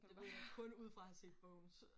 Det var kun ud fra at have set bogen